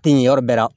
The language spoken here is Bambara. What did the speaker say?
Ten yɔrɔ bɛɛ la